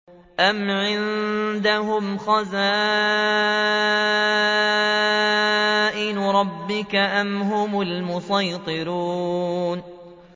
أَمْ عِندَهُمْ خَزَائِنُ رَبِّكَ أَمْ هُمُ الْمُصَيْطِرُونَ